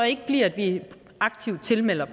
ikke bliver at vi aktivt tilmelder